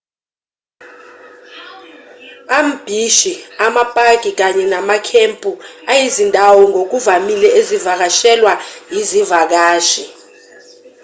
ambhishi amapaki kanye namakhempu ayizindawo ngokuvamile ezivakashelwa izivakashi